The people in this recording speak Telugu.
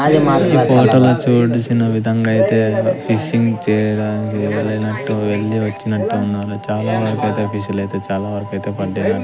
ఈ ఫోటో లో చూడిసిన విధంగా అయితే ఫిషింగ్ చేయడానికి వెళ్లినట్టు వెళ్లి వచ్చినట్టున్నారు చాలా వరకైతే ఫిషులైతే చాలావరకైతే పడ్డా--